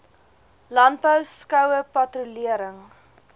landbou skoue patrolering